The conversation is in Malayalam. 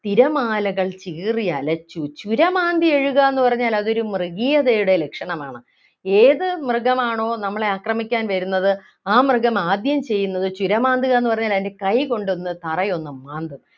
തിരമാലകൾ ചീറിയലച്ചു ചുരമാന്തിയെഴുകാന്നു പറഞ്ഞാൽ അതൊരു മൃഗീയതയുടെ ലക്ഷണമാണ് ഏത് മൃഗമാണോ നമ്മളെ ആക്രമിക്കാൻ വരുന്നത് ആ മൃഗം ആദ്യം ചെയ്യുന്നത് ചുരമാന്തുക എന്ന് പറഞ്ഞാൽ അതിൻ്റെ കൈ കൊണ്ട് ഒന്ന് തറയൊന്നു മാന്തുക